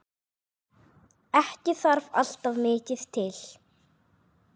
Ekki þarf alltaf mikið til.